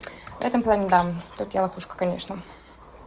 в этом плане да тут я лохушка конечно